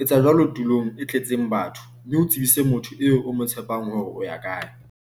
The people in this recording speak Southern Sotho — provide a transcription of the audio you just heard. etsa jwalo tulong e tletseng batho mme o tsebise motho eo o mo tshepang hore o ya kae.